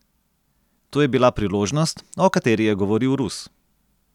To je bila priložnost, o kateri je govoril Rus.